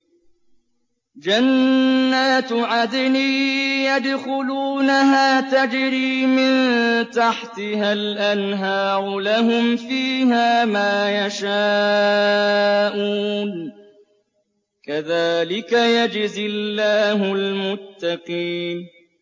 جَنَّاتُ عَدْنٍ يَدْخُلُونَهَا تَجْرِي مِن تَحْتِهَا الْأَنْهَارُ ۖ لَهُمْ فِيهَا مَا يَشَاءُونَ ۚ كَذَٰلِكَ يَجْزِي اللَّهُ الْمُتَّقِينَ